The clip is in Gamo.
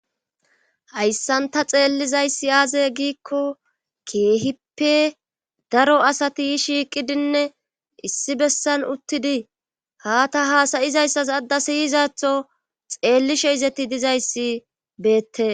hayssanta xeellizayssi aaze giikko keehippe daro asati shiiqidinne issi bessan uttidi haa ta haasayizayssas adda siyizatho xeellishe izeti dizayssi beettes